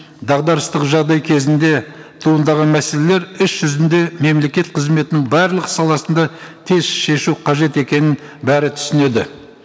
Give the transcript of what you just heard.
дағдарыстық жағдай кезінде туындаған мәселелер іс жүзінде мемлекет қызметінің барлық саласында тез шешу қажет екенін бәрі түсінеді